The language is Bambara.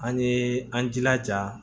An ye an jilaja